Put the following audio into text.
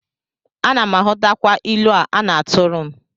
Ana m aghọtakwa ilu a na-atụrụ m